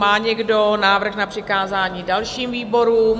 Má někdo návrh na přikázání dalším výborům?